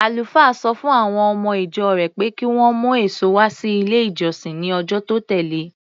Àlùfáà sọ fún àwọn ọmọ-ìjọ rẹ̀ pé kí wọ́n mú èso wá sí ilé-ìjọsìn ní ọjọ́ tó tẹ̀le.